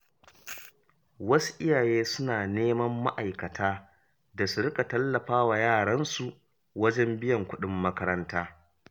Wasu iyaye suna nema ma’aikata da su riƙa tallafa wa yaran su wajen biyan kuɗin makaranta.